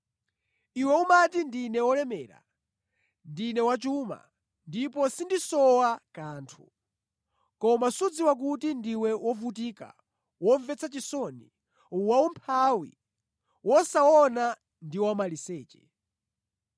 Iwe umati: ‘Ndine wolemera, ndine wachuma ndipo sindisowa kanthu.’ Koma sudziwa kuti ndiwe wovutika, womvetsa chisoni, waumphawi, wosaona ndi wamaliseche.